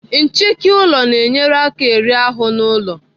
Nchịki ụlọ na-enyere aka eri ahụ nọ n'ụlọ.